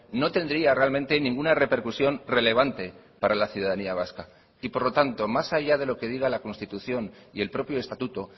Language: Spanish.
no tendría realmente ninguna repercusión relevante para la ciudadanía vasca y por lo tanto más allá de lo que diga la constitución y el propio estatuto